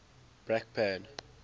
brakpan